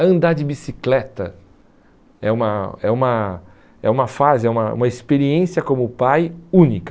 Andar de bicicleta é uma é uma é uma fase, é uma uma experiência como pai única.